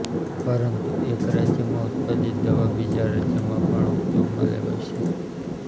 પરંતુ એક રાજ્યમાં ઉત્પાદિત દવા બીજા રાજ્યમાં પણ ઉપયોગમાં લેવાય છે